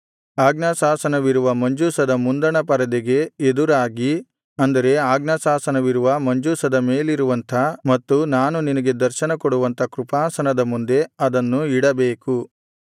ಆಜ್ಞಾಶಾಸನವಿರುವ ಮಂಜೂಷದ ಮುಂದಣ ಪರದೆಗೆ ಎದುರಾಗಿ ಅಂದರೆ ಆಜ್ಞಾಶಾಸನವಿರುವ ಮಂಜೂಷದ ಮೇಲಿರುವಂಥ ಮತ್ತು ನಾನು ನಿನಗೆ ದರ್ಶನ ಕೊಡುವಂಥ ಕೃಪಾಸನದ ಮುಂದೆ ಅದನ್ನು ಇಡಬೇಕು